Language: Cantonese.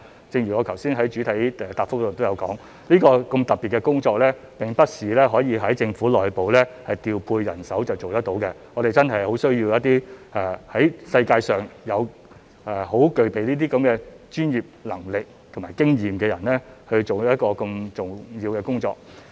正如我剛才在主體答覆也說到，這項如此特別的工作並不是政府內部調配人手就可以做得到，我們真的很需要一些在世界上具備專業能力和經驗的人，做一項如此重要的工作。